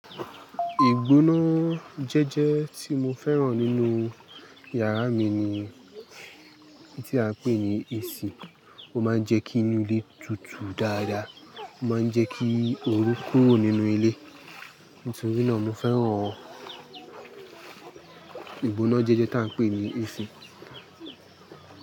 Ìgbóná jẹ́jẹ́ tí mo fẹ́ràn nínú yàrá mi ni tí a ń pè ní AC. Ó máa ń jẹ́ kí inú ilé tutù dáadáa, ó máa ń jẹ́ kí orú kúrò nínú ilé. Ntorí náà mo fẹ́ràn ìgbóná jẹ́jẹ́ ta ń pè ní AC.